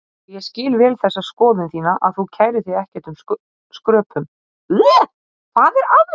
Og ég skil vel þessa skoðun þína að þú kærir þig ekkert um skröpun.